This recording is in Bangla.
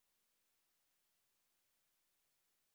এই টিউটোরিয়াল এ অংশগ্রহন করার জন্য ধন্যবাদ